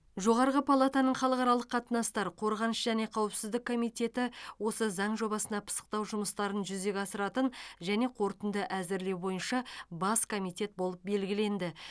жоғарғы палатаның халықаралық қатынастар қорғаныс және қауіпсіздік комитеті осы заң жобасына пысықтау жұмыстарын жүзеге асыратын және қорытынды әзірлеу бойынша бас комитет болып белгіленді